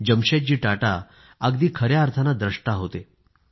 जमशेदजी टाटा अगदी खया अर्थाने द्रष्टा होते